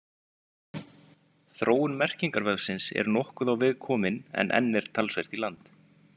Þróun merkingarvefsins er nokkuð á veg komin en enn er talsvert í land.